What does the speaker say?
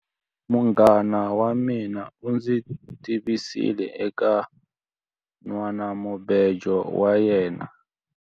Munghana wa mina u ndzi tivisile eka nhwanamubejo wa yena.